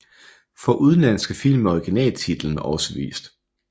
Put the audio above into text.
For udenlandske film er originaltitlen også vist